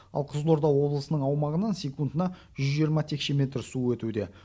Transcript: ал қызылорда облысының аумағынан секундына жүз жиырма текше метр су өтуде